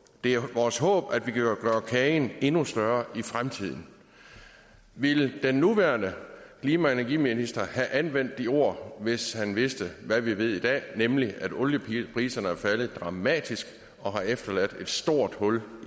det er vores håb at vi kan gøre kagen endnu større i fremtiden ville den nuværende klima og energiminister have anvendt de ord hvis han vidste hvad vi ved i dag nemlig at oliepriserne er faldet dramatisk og har efterladt et stort hul